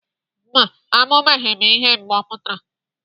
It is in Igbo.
Mba, amụbeghị m ihe mgbe ọ pụtara.